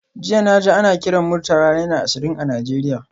Jiya naji ana kiran Murtala naira ashirin a Nigeria